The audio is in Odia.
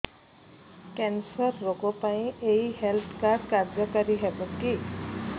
କ୍ୟାନ୍ସର ରୋଗ ପାଇଁ ଏଇ ହେଲ୍ଥ କାର୍ଡ କାର୍ଯ୍ୟକାରି ହେବ କି